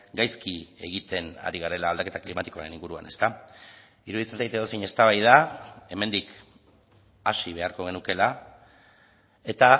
gaizki egiten ari garela aldaketa klimatikoaren inguruan iruditzen zait edozein eztabaida hemendik hasi beharko genukeela eta